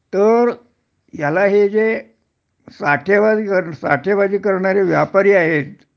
तर ह्याला हे जे साठेंवजी साठेंवजी करणारे व्यापारी आहेत